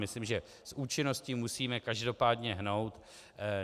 Myslím, že s účinností musíme každopádně hnout.